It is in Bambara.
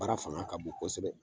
Baara fanga ka bon kosɛbɛ